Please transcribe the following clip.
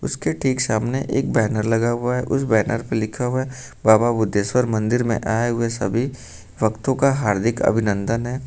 उसके ठीक सामने एक बैनर लगा हुआ है उस बैनर पे लिखा हुआ बाबा बुद्धेश्वर मंदिर में आये हुए सभी भक्तों का हार्दिक अभिनंदन है।